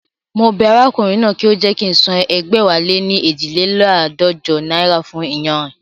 Mo bẹ arákùnrin náà kí ó jẹ́ kí ń san ẹgbẹ̀wáléní eejileládọ́jọ náírà fún iyanrìn